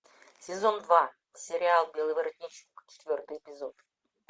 сезон два сериал белый воротничок четвертый эпизод